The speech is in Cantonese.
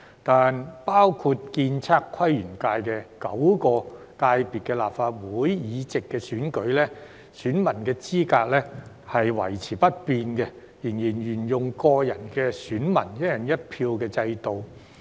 但包括建築、測量、都市規劃及園境界等9個界別的立法會議席選舉，選民資格維持不變，仍然沿用個人選民"一人一票"制度。